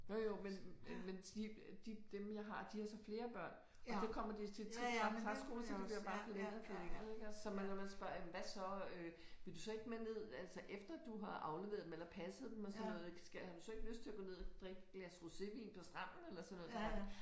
Jo jo men men de de dem jeg har de har så flere børn og så kommer de og siger trip trap træsko så det bliver bare forlænget og forlænget ik så når man spørger hvad så øh vil du så ikke med ned altså efter du har afleveret dem eller passet dem og sådan noget skal har du så ikke lyst til at gå med ned og drikke et glas rosévin på stranden eller sådan noget